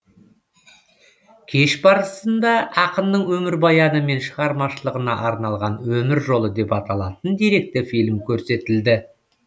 кеш барысында ақынның өмірбаяны мен шығармашылығына арналған өмір жолы деп аталатын деректі фильм көрсетілді